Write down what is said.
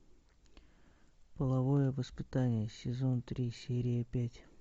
половое воспитание сезон три серия пять